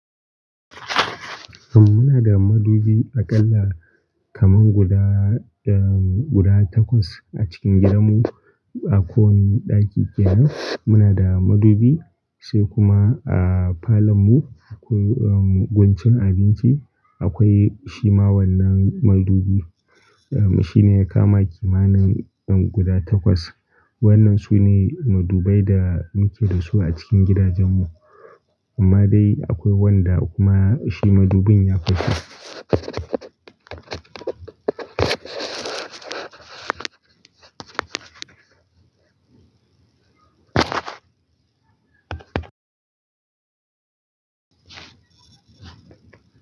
Amma muna da madubi aƙalla kaman guda, um, guda takwas a cikin gidanmu. A kowanne ɗaki kenan muna da madubi. Sai kuma a falonmu akwai, um, guncin abinci akwai shi ma wannan madubi. Um, shi ne ya kama kimanin, um, guda takwas. Wannan su ne madubai da muke da su a cikin gidajen mu. Amma dai akwai wanda kuma shi madubin ya fashe.